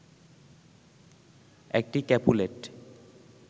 একটি ক্যাপুলেট